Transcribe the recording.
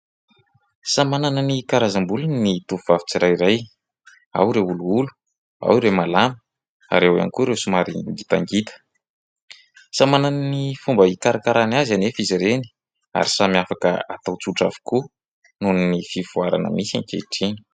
Samy manana ny karazam-bolony ny tovovavy tsirairay : ao ireo olioly, ao ireo malama ary ao ihany koa ireo somary ngitangita. Samy manana ny fomba hikarakarany azy anefa izy ireny ary samy afaka atao tsotra avokoa noho ny fivoarana misy ankehitriny.